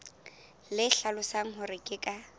le hlalosang hore ke ka